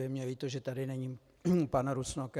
Je mi líto, že tady není pan Rusnok.